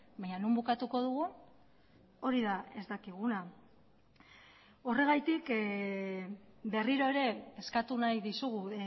bainan non bukatuko dugun hori da ez dakiguna horregatik berriro ere eskatu nahi dizugu